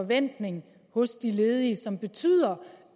forventning hos de ledige som betyder